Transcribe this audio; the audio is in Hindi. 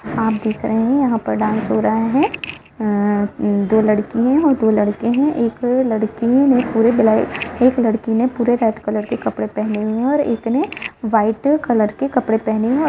आप दीख रहे हैं यहाँ पर डास हो रहा है अ दो लड़की हैं दो लड़के हैं एक लड़की ने पूरे ब्लैक एक लड़की ने पूरे रेड कलर के कपड़े पहने हुए हैं और एक ने व्हाइट कलर के कपड़े पहने हैं।